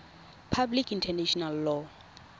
public international law